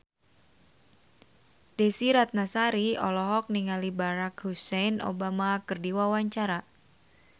Desy Ratnasari olohok ningali Barack Hussein Obama keur diwawancara